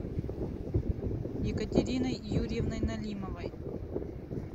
екатериной юрьевной налимовой